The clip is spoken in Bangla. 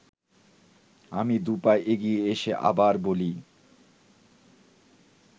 আমি দু’পা এগিয়ে এসে আবার বলি